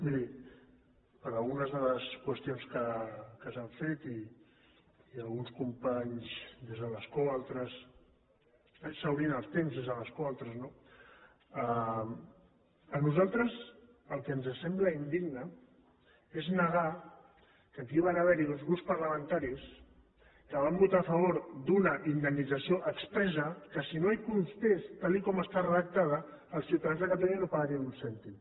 miri per algunes de les qüestions que s’han fet i alguns companys des de l’escó altres exhaurint el temps des de l’escó altres no a nosaltres el que ens sembla indigne és negar que aquí van haver hi uns grups parlamentaris que van votar a favor d’una indemnització expressa que si no hi constés tal com està redactada els ciutadans de catalunya no pagaríem ni un cèntim